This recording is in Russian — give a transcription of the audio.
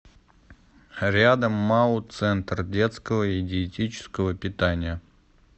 рядом мау центр детского и диетического питания